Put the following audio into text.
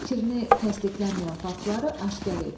Fikrini təsdiqlənməyən faktları aşkar et.